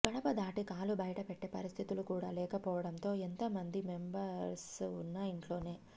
గడప దాటి కాలు బయటపెట్టే పరిస్థితులు కూడా లేకపోవడంతో ఎంతమంది మెంబర్స్ ఉన్నా ఇంట్లోనే